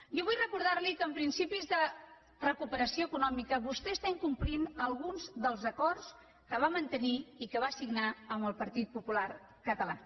jo vull recordar li que en principis de recuperació econòmica vostè incompleix alguns dels acords que va mantenir i que va signar amb el partit popular català